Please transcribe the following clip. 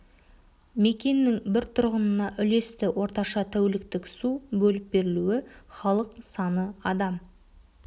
мекеннің бір тұрғынына үлесті орташа тәуліктік су бөліп берілуі халық саны адам